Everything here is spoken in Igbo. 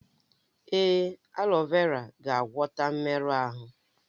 Èé, aleo vera ga-agwọta mmerụ ahụ.